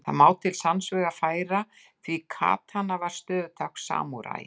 Það má til sanns vegar færa því katana var stöðutákn samúræjans.